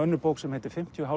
bók sem heitir fimmtíu og